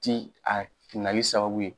Ti a nali sababu ye